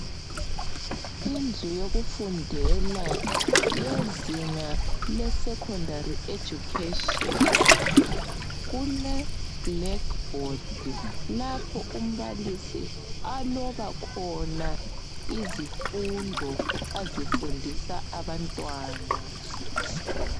Indlu yokufundela yezinga le secondary education kule black board lapho umbalisi aloba khona izifundo azifundisa abantwana.